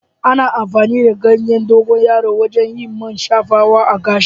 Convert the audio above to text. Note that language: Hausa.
Ana amfani da ganyen dogonyaro wajen yin man shafawa a gashi.